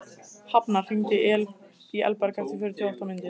Hafnar, hringdu í Elberg eftir fjörutíu og átta mínútur.